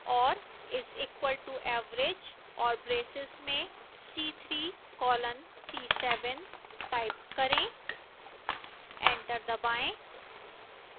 और is equal to average और braces में c3 colon c7 type करें एंटर दबाएं